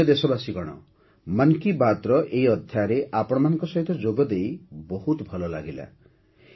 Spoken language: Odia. ମୋର ପ୍ରିୟ ଦେଶବାସୀଗଣ 'ମନ୍ କି ବାତ୍'ର ଏହି ଅଧ୍ୟାୟରେ ଆପଣମାନଙ୍କ ସହିତ ଯୋଗଦେଇ ବହୁତ ଭଲ ଲାଗିଲା